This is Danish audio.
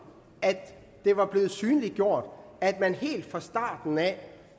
at det var blevet synliggjort at man helt fra starten af